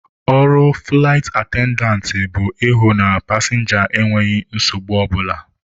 Ọrụ fụlaịt atendantị bụ ịhụ na ndị pasịnja enweghị nsogbu ọ bụla.